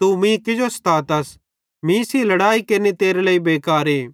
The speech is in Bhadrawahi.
तू मीं किजो स्तातस मीं सेइं लड़ाई केरनि तेरे लेइ बेकारे